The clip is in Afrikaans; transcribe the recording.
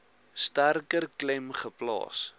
sterker klem geplaas